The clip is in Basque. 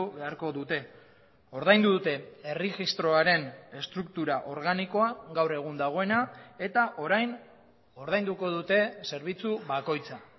beharko dute ordaindu dute erregistroaren estruktura organikoa gaur egun dagoena eta orain ordainduko dute zerbitzu bakoitza